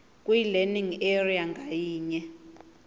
kwilearning area ngayinye